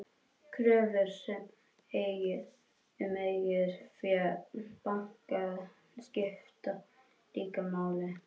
Kröfur um eigið fé banka skipta líka máli.